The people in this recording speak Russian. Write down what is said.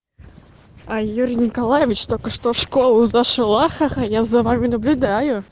юрий николаевич только что в школу за шалахо я за вами наблюдаю